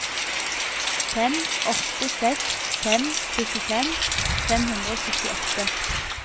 fem åtte seks fem syttifem fem hundre og syttiåtte